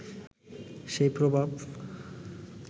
সেই প্রভাব